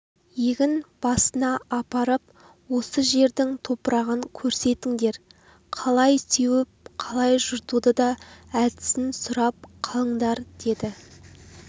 егін басына апарып осы жердің топырағын көрсетіңдер қалай сеуіп қалай жыртудың да әдісін сұрап қалындар деді